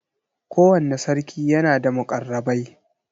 Kowanne sarki yana da muƙarrabai.